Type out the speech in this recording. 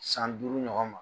San duuru ɲɔgɔn ma.